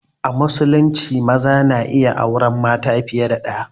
A musulunci maza na iya auren mata fiye da ɗaya